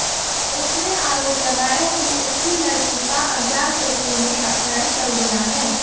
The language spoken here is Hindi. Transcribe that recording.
उसने आरोप लगाया कि उसकी लड़की का अज्ञात व्यक्ति ने अपहरण कर लिया है